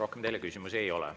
Rohkem teile küsimusi ei ole.